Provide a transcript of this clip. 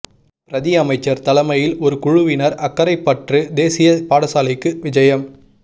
பிரதி அமைச்சர் தலைமையில் ஒரு குழுவினர் அக்கரைப்பற்று தேசிய பாடசாலைக்கு விஜயம்